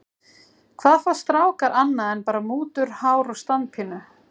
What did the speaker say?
Hvað fá strákar annað en bara mútur, hár og standpínu?